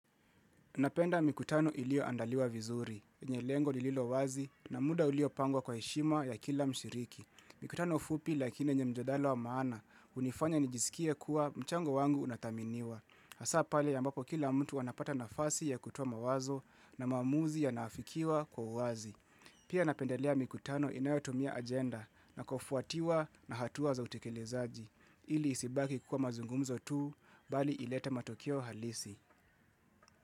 Napenda mikutano iliyoandaliwa vizuri, yenye lengo lililo wazi na muda uliopangwa kwa heshima ya kila mshiriki. Mikutano fupi lakini yenye mjadala wa maana, hunifanya nijisikie kuwa mchango wangu unathaminiwa. Hasaa pale ambapo kila mtu anapata nafasi ya kutoa mawazo na maamuzi yanaafikiwa kwa uwazi. Pia napendelea mikutano inayotumia agenda na kufuatiwa na hatuwa za utekelezaji. Ili isibaki kuwa mazungumzo tu, bali ilete matokeo halisi.